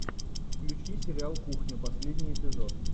включи сериал кухня последний эпизод